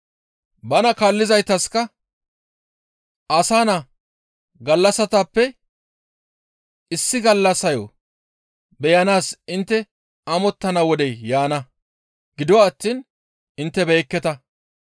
Bana kaallizaytaska, «Asa Naa gallassatappe issi gallassayo beyanaas intte amottana wodey yaana; gido attiin intte beyekketa.